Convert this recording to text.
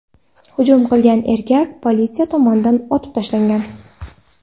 Hujum qilgan erkak politsiya tomonidan otib tashlangan.